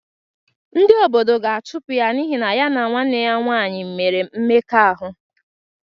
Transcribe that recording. Ndị obodo ga-achụpụ ya n’ihi na ya na nwanne ya nwaanyị mere mmekọahụ.